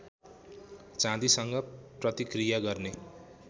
चाँदीसँग प्रतिक्रिया गर्ने